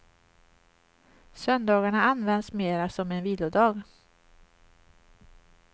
Söndagarna används mera som en vilodag.